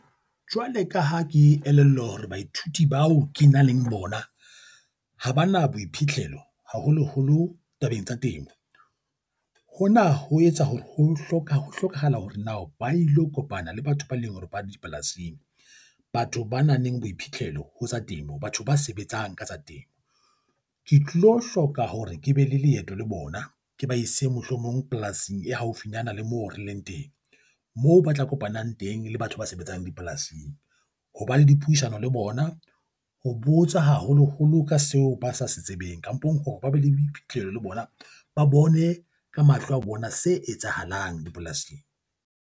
Jwale ka ha ke elellwa hore baithuti bao ke nang le bona ha ba na boiphitlhelo, haholoholo tabeng tsa temo. Hona ho etsa hore ho hlokahala hore na ba ilo kopana le batho ba leng hore ba dipolasing, batho ba nang le boiphithlelo ho tsa temo, batho ba sebetsang ka tsa temo. Ke tlilo hloka hore ke be le leeto le bona ke ba ise mohlomong polasing e haufinyana le moo re leng teng, moo ba tla kopanang teng le batho ba sebetsang dipolasing ho ba le dipuisano le bona, ho botsa haholoholo ka seo ba sa se tsebeng kampong hore ba be le boiphithlelo le bona, ba bone ka mahlo a bona se etsahalang dipolasing.